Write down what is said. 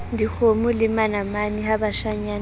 dikgomo le manamane ha bashanyana